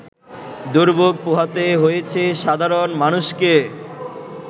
দুর্ভোগ পোহাতে হয়েছে সাধারণ মানুষকে